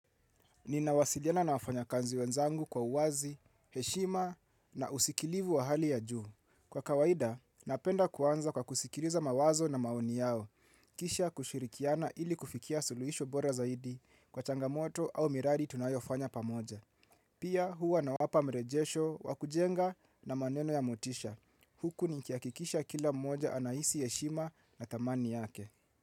Nina wasiliana na wafanya kazi wenzangu kwa uwazi, heshima na usikilivu wa hali ya juu. Kwa kawaida, napenda kuanza kwa kusikiliza mawazo na maoni yao. Kisha kushirikiana ili kufikia suluisho bora zaidi kwa changamoto au miradi tunayo fanya pamoja. Pia huwa nawapa mrejesho, wa kujenga na maneno ya mutisha. Huku nikihakikisha kila mmoja anahisi heshima na dhamani yake.